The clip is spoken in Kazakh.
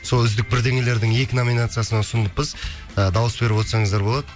сол үздік бірдеңелердің екі номинациясына ұсынылыппыз ы дауыс беріп отсаңыздар болады